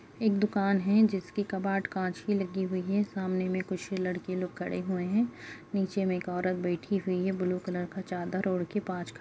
एक दुकान है जिसकी कबार्ड कांच की लगी हुई है सामने मे कुछ लड़के लोग खड़े हुए हैं नीचे मे एक औरत बैठी हुई है ब्लू कलर का चादर ओढ़ के पाँच --